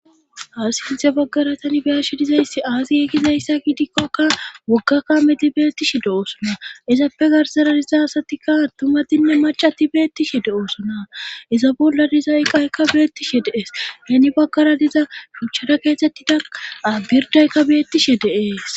aasiinthe baggara tani biyashi dizayssi aasi ekizayssa gidikkokka woggakkameti beettishi de7oosona ezappe garsara diza satikka tumadinne macati beettishi de7oosona iza bolla dizayqaykka beettishi deees neni baggara diza shuchara keesettida birdaykka beettishi deees